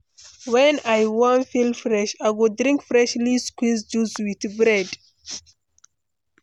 When I wan feel fresh, I go drink freshly squeezed juice with bread.